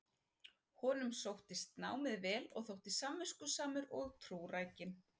Honum sóttist námið vel og þótti samviskusamur og trúrækinn.